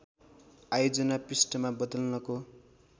आयोजना पृष्ठमा बदल्नको